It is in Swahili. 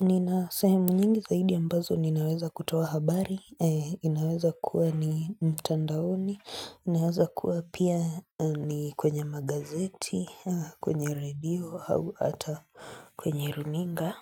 Nina sehemu nyingi zaidi ambazo ninaweza kutoa habari, inaweza kuwa ni mtandaoni, inaweza kuwa pia ni kwenye magazeti, kwenye radio, au hata kwenye runinga.